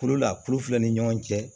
Kulu la kulu filɛ ni ɲɔgɔn cɛ